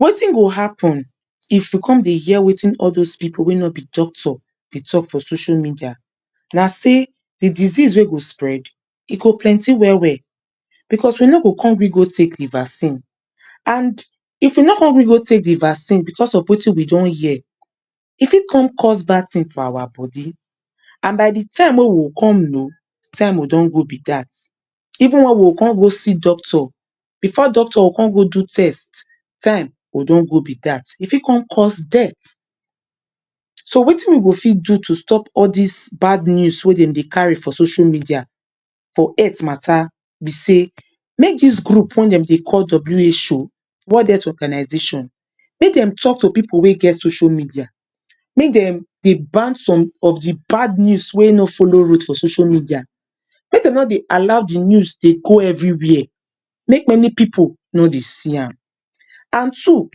Wetin go happun if we come dey hear wetin all dos pipu wey nobi doctors dey tok for social media, na sey di disease wey go spread e go plenty wel wel bicos we no go bicos we no go come gree go take di vaccine and if we no come gree go take di vaccine bicos of wetin we don hear e fit come cause bad tin for our body and by di time wey we go come know, time go don go be dat even wen we go come go see doctor bifor doctor go come go do test time go don go be dat e fit come cause death, so wetin we go fit do to stop all dis bad news wey dem dey cattu for social media for health matta be say make dis group wen dem dey call WHO world health organisation make dem tok to pipu wey get social media make dem de ban di bad news wey no follow road for social media make dem no dey allow di news dey go evri wia make many pipu no dey see am. And two,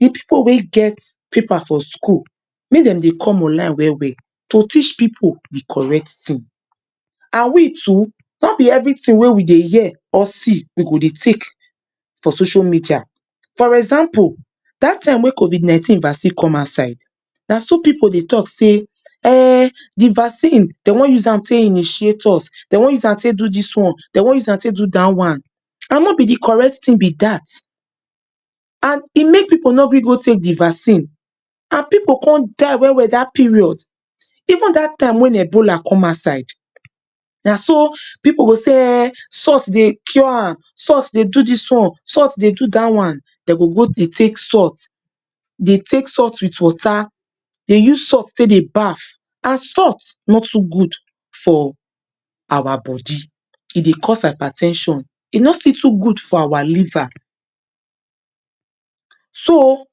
di pipu wey get paper for school make dem de come on-line wel wel to teach pipu di correct tin, and we too nobi evritin wey we dey hear or seedey take for social media, for example dat time wey covid 19 vaccine come out side na so pipu dey tok say ehnnn, di vaccine dem wan use am take initiate us dem wan use am take do dis one, dem wam use am take do dat one, and nobi di correct tin be dat, and e make pipu no come gree take di vaccine, and pipu come die wel wel dat period. Even dat time wey ebola come outside, naso pipu go say ehn, saltt dey cure am, salt dey do dis one, salt dey do dat one. Dem go go dey take salt dey take salt wit water dey use salt take dey baff, and salt no too good for our body, e dey cause hyper ten sion e no still too good for our liver so,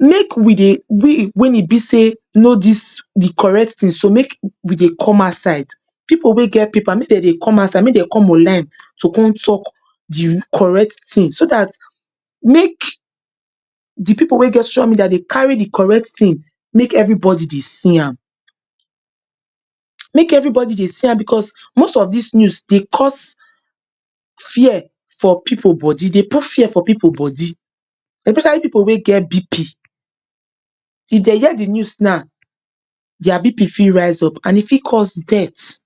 make we dey, we wen ebi say, know di correct tin make we dey come outside pipu wey get paper make dem dey come out side make dem come online to come tok di correct tin so dat make di pipu wey get social media dey carry do correct tin make evribody dey see am, make evribody dey see am bicos most of dis news dey cause fear for pipu body dey put fear for pipu body especially pipu wey get BP if dem hear di news na, dia BP fit raise up and e fit cause death.